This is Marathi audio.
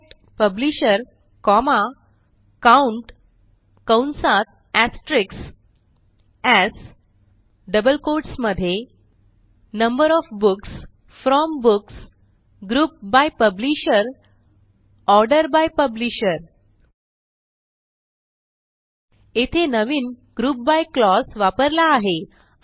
सिलेक्ट पब्लिशर कॉमा काउंट कंसात एस्टेरिस्क्स एएस डबल कोट्स मध्ये number O F books from books group by publisher order by publisher येथे नवीन ग्रुप बाय क्लॉज वापरला आहे